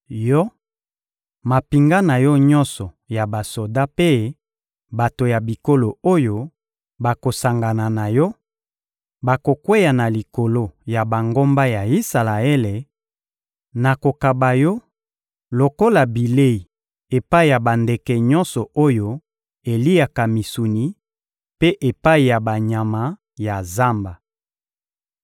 Yo, mampinga na yo nyonso ya basoda mpe bato ya bikolo oyo bakosangana na yo, bokokweya na likolo ya bangomba ya Isalaele; nakokaba yo lokola bilei epai ya bandeke nyonso oyo eliaka misuni mpe epai ya banyama ya zamba.